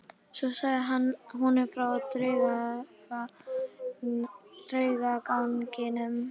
Svo sagði hann honum frá draugaganginum.